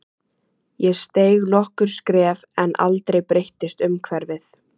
Ég steig nokkur skref en aldrei breyttist umhverfið.